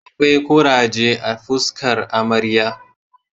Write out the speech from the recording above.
Akwai kuraje a fuskar amarya